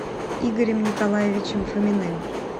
игорем николаевичем фоминым